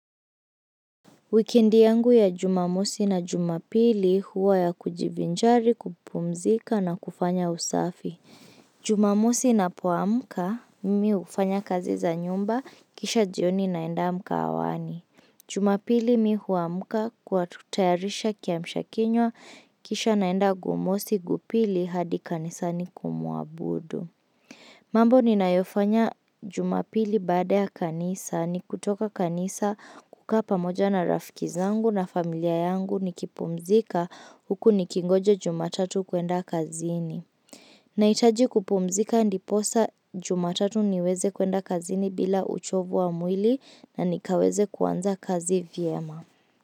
Wikendi yangu ya jumamosi na jumapili huwa ya kujivijari kupumzika na kufanya usafi. Jumamosi ninapo amuka mimi ufanya kazi za nyumba kisha jioni naenda mkahawani. Jumapili mi huamuka kwa tutayarisha kiamshakinywa kisha naenda gumosi gupili hadi kanisa ni kumuabudu. Mambo ni nayofanya jumapili baada ya kanisa, ni kutoka kanisa kukapa moja na rafikizangu na familia yangu ni kipumzika huku ni kingoje jumatatu kuenda kazini. Naitaji kupumzika ndiposa jumatatu niweze kuenda kazini bila uchovu wa mwili na nikaweze kuanza kazi vyema.